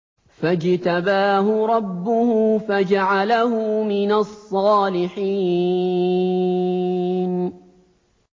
فَاجْتَبَاهُ رَبُّهُ فَجَعَلَهُ مِنَ الصَّالِحِينَ